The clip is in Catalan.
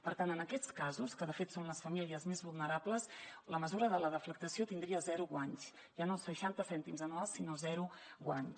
per tant en aquests casos que de fet són les famílies més vulnerables la mesura de la deflactació tindria zero guanys ja no seixanta cèntims anuals sinó zero guanys